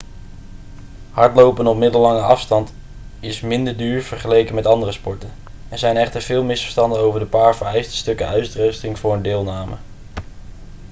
hardlopen op middellange afstand is minder duur vergeleken met andere sporten er zijn echter veel misverstanden over de paar vereiste stukken uitrusting voor deelname